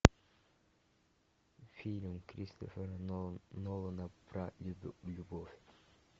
фильм кристофера нолана про любовь